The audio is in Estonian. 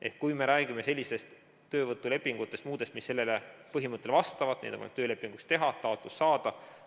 Ehk kui me räägime muudest töövõtulepingutest, mis sellele põhimõttele vastavad, siis neid on võimalik töölepinguks teha, toetust saada.